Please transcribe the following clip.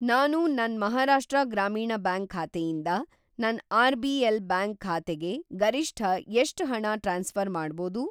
ನಾನು ನನ್‌ ಮಹಾರಾಷ್ಟ್ರ ಗ್ರಾಮೀಣ್‌ ಬ್ಯಾಂಕ್ ಖಾತೆಯಿಂದ ನನ್‌ ಆರ್.ಬಿ.ಎಲ್.‌ ಬ್ಯಾಂಕ್ ಖಾತೆಗೆ ಗರಿಷ್ಠ ಎಷ್ಟ್‌ ಹಣ ಟ್ರಾನ್ಸ್‌ಫ಼ರ್‌ ಮಾಡ್ಬೋದು?